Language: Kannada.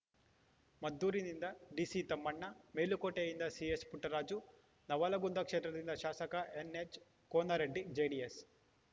ಮದ್ದೂರಿನಿಂದ ಡಿಸಿತಮ್ಮಣ್ಣ ಮೇಲುಕೋಟೆಯಿಂದ ಸಿಎಸ್‌ಪುಟ್ಟರಾಜು ನವಲಗುಂದ ಕ್ಷೇತ್ರದಿಂದ ಶಾಸಕ ಎನ್‌ಎಚ್‌ ಕೋನರಡ್ಡಿಜೆಡಿಎಸ್‌